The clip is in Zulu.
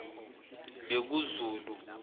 bekuzulu